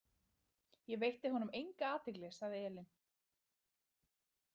Ég veitti honum enga athygli, sagði Elín.